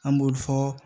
An b'olu fɔ